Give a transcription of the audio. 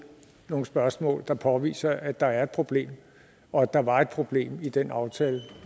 nogle spørgsmål der påviser at der er et problem og at der var et problem i den aftale